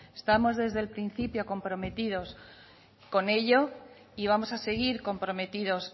estamos desde el principio comprometidos con ello y vamos a seguir comprometidos